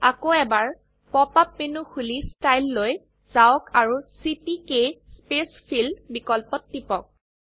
আকৌ এবাৰ pop up menu খুলি ষ্টাইল লৈ যাওক আৰু চিপিকে স্পেইচফিল বিকল্পত টিপক